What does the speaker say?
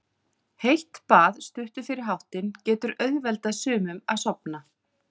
Heitt bað stuttu fyrir háttinn getur auðveldað sumum að sofna.